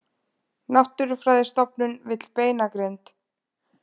Náttúrufræðistofnun vill beinagrind